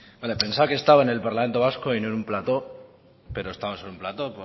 vale pensaba que estaba en el parlamento vasco y no en un plato pero estamos en un plato